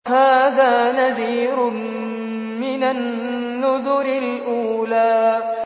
هَٰذَا نَذِيرٌ مِّنَ النُّذُرِ الْأُولَىٰ